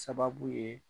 Sababu ye